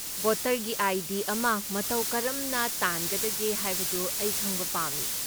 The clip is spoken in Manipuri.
ꯚꯣꯇꯔꯒꯤ ꯑꯥꯏ.ꯗꯤ. ꯑꯃ ꯃꯇꯧ ꯀꯔꯝꯅ ꯇꯥꯟꯅꯒꯗꯒꯦ ꯍꯥꯏꯕꯗꯨ ꯑꯩ ꯈꯪꯕ ꯄꯥꯝꯃꯤ ꯫